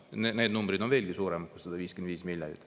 Need numbrid on veelgi suuremad kui 155 miljonit.